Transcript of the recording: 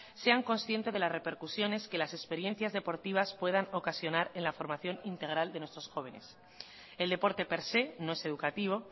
sean conscientes de las repercusiones que las experiencias deportivas puedan ocasionar en la formación integral de nuestros jóvenes el deporte per se no es educativo